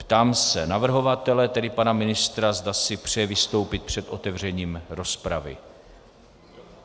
Ptám se navrhovatele, tedy pana ministra, zda si přeje vystoupit před otevřením rozpravy.